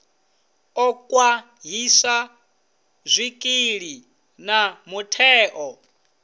ḓo khwaṱhisa zwikili na mutheo